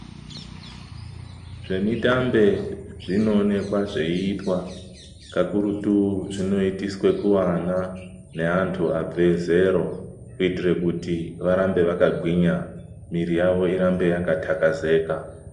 Zvemitambe zvinoonekwa zveiitwa kakurutu zvinoitiswe ku ana ne antu abve zero kuti arambe aka gwinya miiro yavo irambe yaka thakazeka.